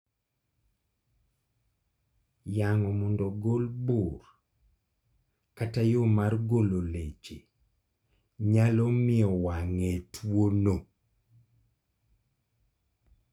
Yang'o mondo ogol bur kata yoo mar golo leche nyalo mio wang'e tuo no